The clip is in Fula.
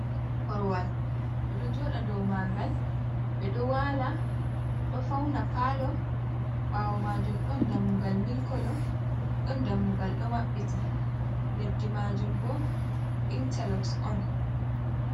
Korowal ɓe ɗo jooɗa dow maagal, ɓe ɗo waala, ɗo fauna paalo. Ɓawo majum ɗon dammugal mili koolo, ɗon dammugal ɗo maɓɓiti leddi maajum bo intalox on.